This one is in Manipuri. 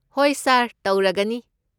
ꯍꯣꯏ ꯁꯥꯔ, ꯇꯧꯔꯒꯅꯤ꯫